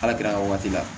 Ala gɛr'aw la